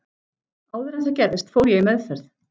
Áður en það gerðist fór ég í meðferð.